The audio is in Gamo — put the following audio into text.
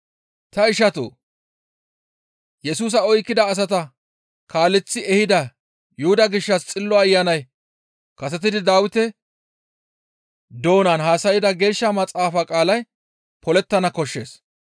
«Ta ishatoo! Yesusa oykkida asata kaaleththi ehida Yuhuda gishshas Xillo Ayanay kasetidi Dawite doonan haasayda Geeshsha maxaafa qaalay polettana koshshees.